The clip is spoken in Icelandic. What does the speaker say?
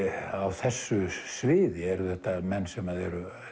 á þessu sviði eru þetta menn sem eru